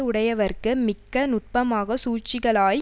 உடையவர்க்கு மிக்க நுட்பமாக சூழ்ச்சிகளாய்